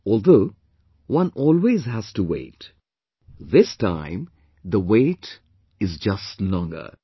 Although, one always has to wait...this time the wait is just longer